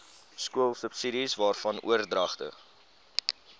skoolsubsidies waarvan oordragte